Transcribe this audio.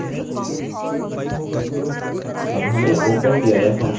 अब हमें open dir function का उपयोग करना है